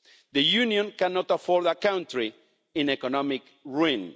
The Union cannot afford a country in economic ruin.